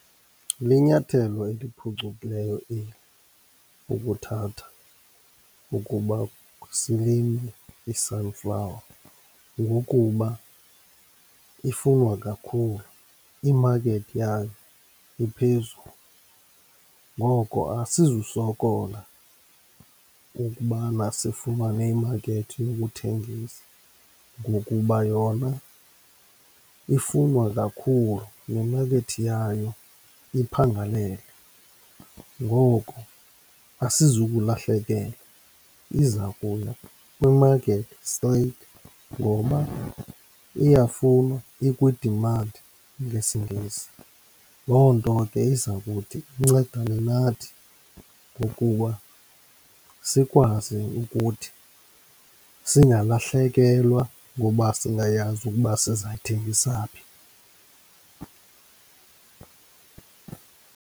Linyathelo eliphucukileyo eli, ukuthatha ukuba silime i-sunflower, ngokuba ifunwa kakhulu, imakethi yayo iphezulu. Ngoko asizusokola ukubana sifumane imakethi yokuthengisa ngokuba yona ifunwa kakhulu, nemakethi yayo iphangalele. Ngoko asizukulahlekelwa iza kuya kwimakethi straight ngoba iyafunwa, ikwi-demand ngesiNgesi. Loo nto ke iza kuthi incedane nathi ngokuba sikwazi ukuthi singalahlekelwa ngoba singayazi ukuba sizayithengisa phi.